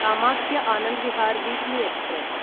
Kamakhya Anand Vihar weekly express